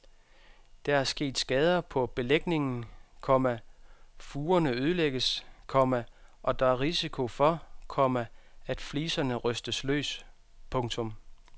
Der er sket skader på belægningen, komma furerne ødelægges, komma og der er risiko for, komma at fliserne rystes løs. punktum